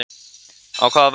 Á hvaða vegferð erum við?